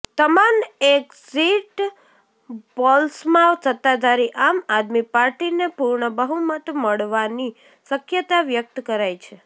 તમામ એક્ઝિટ પોલ્સમાં સત્તાધારી આમ આદમી પાર્ટીને પૂર્ણ બહુમત મળવાની શક્યતા વ્યક્ત કરાઈ છે